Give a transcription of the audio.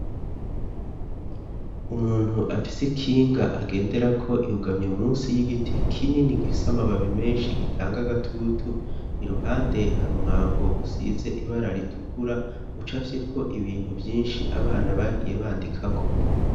Umuntu afise kinga agenderako yugamye munsi y'igiti kinini gifise amababi menshi gitanga agatutu iruhande hari umwango usize ibara ritukura ucafyeko ibintu vyinshi abana bagiye bandikako.